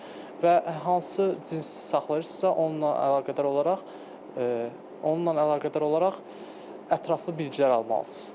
Və hansı cins saxlayırsınızsa, onunla əlaqədar olaraq, onunla əlaqədar olaraq ətraflı bilgilər almalısınız.